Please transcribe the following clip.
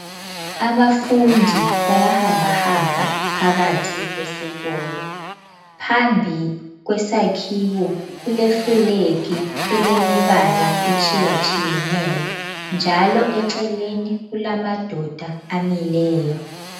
Abafundi bayahamba hamba phakathi kwesikolo. Phambi kwesakhiwo kule flag elemibala etshiyatshiyeneyo njalo eceleni kulamadoda amileyo.